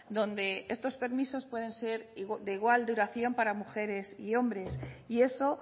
donde estos permisos pueden ser de igual duración para mujeres y hombres y eso